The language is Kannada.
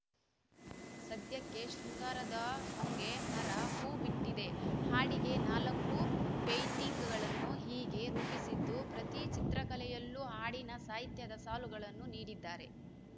ಸದ್ಯಕ್ಕೆ ಶೃಂಗಾರದ ಹೊಂಗೆ ಮರ ಹೂ ಬಿಟ್ಟಿದೆ ಹಾಡಿಗೆ ನಾಲ್ಕು ಪೇಯಿಂಟಿಂಗ್‌ಗಳನ್ನು ಹೀಗೆ ರೂಪಿಸಿದ್ದು ಪ್ರತಿ ಚಿತ್ರಕಲೆಯಲ್ಲೂ ಹಾಡಿನ ಸಾಹಿತ್ಯದ ಸಾಲುಗಳನ್ನು ನೀಡಿದ್ದಾರೆ